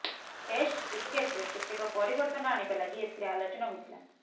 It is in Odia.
ଟେଷ୍ଟ କ୍ରିକେଟରେ କେତେକ ପରିବର୍ତ୍ତନ ଆଣିବା ଲାଗି ଏଥିରେ ଆଲୋଚନା ହୋଇଥିଲା